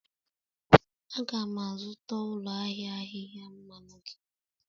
Aga'm azụta ụlọ ahịa ahịhịa mmanụ gị